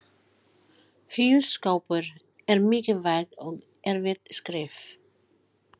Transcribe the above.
Hjúskapur er mikilvægt og erfitt skref.